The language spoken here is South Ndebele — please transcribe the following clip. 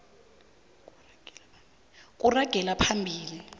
kuragela phambili